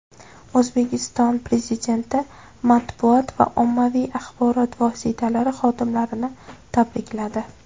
O‘zbekiston Prezidenti matbuot va ommaviy axborot vositalari xodimlarini tabrikladi.